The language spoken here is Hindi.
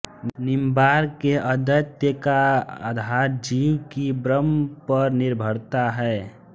निंबार्क के अद्वैत का आधार जीव की ब्रह्म पर निर्भरता है